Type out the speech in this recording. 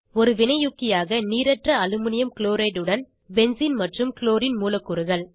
ஒரு வினையூக்கியாக நீரற்ற அலுமினியம் க்ளோரைட் உடன் பென்சீன் மற்றும் க்ளோரின் மூலக்கூறுகள்